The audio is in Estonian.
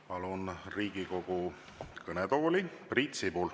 Palun Riigikogu kõnetooli Priit Sibula.